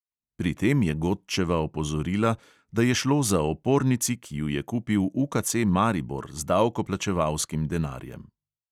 Pri tem je godčeva opozorila, da je šlo za opornici, ki ju je kupil UKC maribor z davkoplačevalskim denarjem.